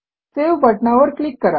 save बटणावर click करा